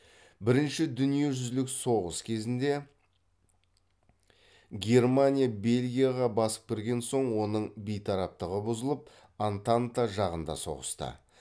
бірінші дүниежүзілік соғыс кезінде германия бельгияға басып кірген соң оның бейтараптығы бұзылып антанта жағында соғысты